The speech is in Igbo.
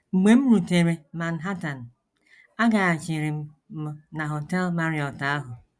“ Mgbe m rutere Manhattan, agaghachiri m m na Họtel Marriott ahụ.